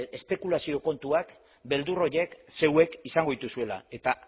espekulazio kontuak beldur horiek zeuek izango dituzuela eta